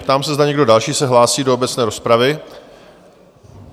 Ptám se, zda někdo další se hlásí do obecné rozpravy?